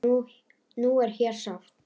Nú er hér safn.